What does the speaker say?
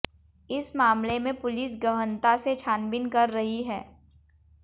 इस मामले में पुलिस गहनता से छानबीन कर रही है